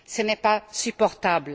Ce n'est pas supportable.